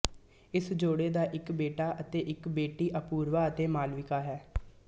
ਇਸ ਜੋੜੀ ਦਾ ਇੱਕ ਬੇਟਾ ਅਤੇ ਇੱਕ ਬੇਟੀ ਅਪੂਰਵਾ ਅਤੇ ਮਾਲਵਿਕਾ ਹੈ